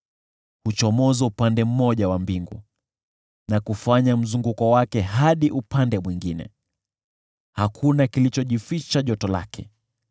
Huchomoza upande mmoja wa mbingu, na kufanya mzunguko wake hadi upande mwingine. Hakuna kilichojificha joto lake.